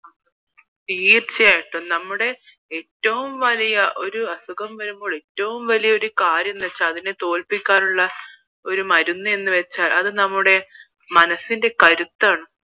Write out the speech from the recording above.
തീർച്ചയായിട്ടും നമ്മടെ ഏറ്റവും വലിയ ഒരു അസുഖം വരുമ്പോൾ കാര്യം എന്ന് വച്ചാൽ അതിനെ തോല്പിക്കാനുള്ള മരുന്നെന്ന് വച്ചാൽ അത് നമ്മൂടേ മനസ്സിന്റെ കരുത്താണ്